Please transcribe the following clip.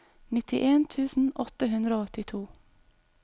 nittien tusen åtte hundre og åttito